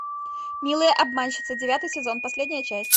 милые обманщицы девятый сезон последняя часть